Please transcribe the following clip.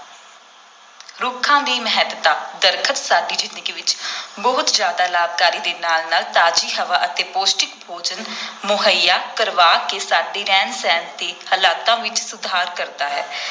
ਰੁੱਖਾਂ ਦੀ ਮਹੱਤਤਾ, ਦਰੱਖਤ ਸਾਡੀ ਜ਼ਿੰਦਗੀ ਵਿਚ ਬਹੁਤ ਜ਼ਿਆਦਾ ਲਾਭਕਾਰੀ ਦੇ ਨਾਲ ਨਾਲ ਤਾਜ਼ੀ ਹਵਾ ਅਤੇ ਪੌਸ਼ਟਿਕ ਭੋਜਨ ਮੁਹੱਈਆ ਕਰਵਾ ਕੇ ਸਾਡੇ ਰਹਿਣ-ਸਹਿਣ ਦੇ ਹਾਲਾਤਾਂ ਵਿਚ ਸੁਧਾਰ ਕਰਦਾ ਹੈ।